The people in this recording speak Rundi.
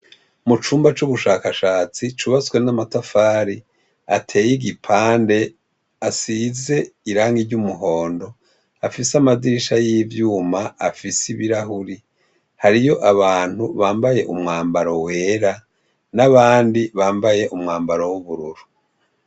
Mu cumba c'ubushakashatsi cubatswe n'amatafari ateye igipande asize irangi ry'umuhondo afise amadirisha y'ivyuma afise ibirahuri hariyo abantu bambaye umwambaro wera n'abandi bambaye umwambaro w'ubururu.